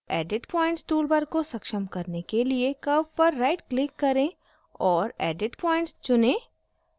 edit points toolbar को सक्षम करने के लिए curve पर rightclick करें और edit points चुनें